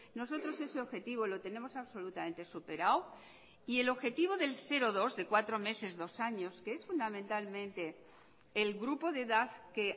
nosotros ese objetivo lo tenemos absolutamente superado y el objetivo del cero dos de cuatro meses dos años que es fundamentalmente el grupo de edad que